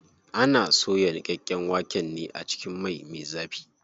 Ana soya niƙaƙƙen waken ne a cikin mai me zafi.